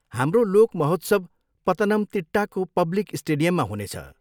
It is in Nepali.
हाम्रो लोक महोत्सव पतनमतिट्टाको पब्लिक स्टेडियममा हुनेछ।